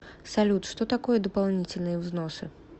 салют что такое дополнительные взносы